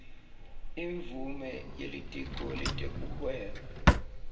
imvumo yelitiko letekuhweba